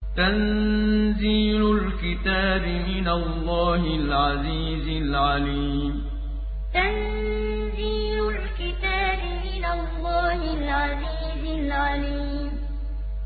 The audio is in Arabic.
تَنزِيلُ الْكِتَابِ مِنَ اللَّهِ الْعَزِيزِ الْعَلِيمِ تَنزِيلُ الْكِتَابِ مِنَ اللَّهِ الْعَزِيزِ الْعَلِيمِ